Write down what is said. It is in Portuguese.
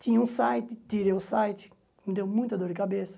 Tinha um site, tirei o site, me deu muita dor de cabeça.